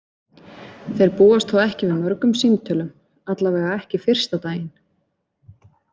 Þeir búast þó ekki við mörgum símtölum, allavega ekki fyrsta daginn.